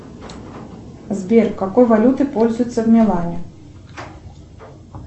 сбер какой валютой пользуются в милане